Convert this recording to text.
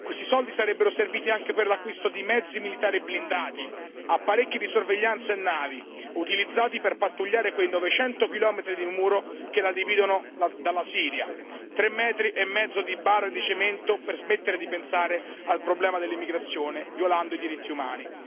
Questi soldi sarebbero serviti anche per l'acquisto di mezzi militari e blindati, apparecchi di sorveglianza e navi, utilizzati per pattugliare quei 900 chilometri di muro che la dividono dalla Siria tre metri e mezzo di barre di cemento per smettere di pensare al problema dell'immigrazione, violando i diritti umani.